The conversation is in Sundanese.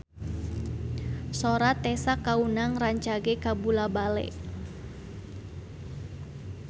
Sora Tessa Kaunang rancage kabula-bale